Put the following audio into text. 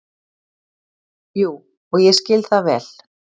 Jú, og ég skil það vel.